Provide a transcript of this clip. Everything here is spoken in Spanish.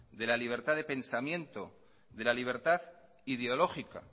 de la libertad de pensamiento de la libertad ideológica